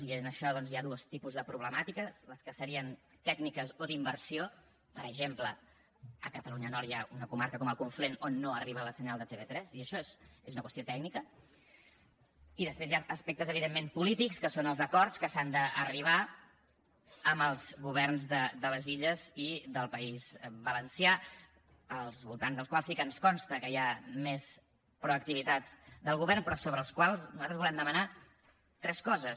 i en això doncs hi ha dos tipus de problemàtiques les que serien tècniques o d’inversió per exemple a catalunya nord hi ha una comarca com el conflent on no arriba el senyal de tv3 i això és una qüestió tècnica i després hi han aspectes evidentment polítics que són els acords a què s’ha d’arribar amb els governs de les illes i del país valencià al voltant dels quals sí que ens consta que hi ha més proactivitat del govern però sobre els quals nosaltres volem demanar tres coses